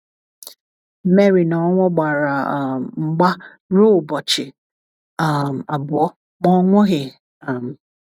Mary na ọnwụ gbara um mgba ruo ụbọchị um abụọ, ma ọ nwụghị um.